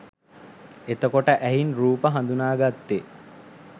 එතකොට ඇහින් රූප හඳුනාගත්තෙ